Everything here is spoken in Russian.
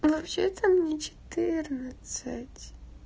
вообще-то мне четырнадцать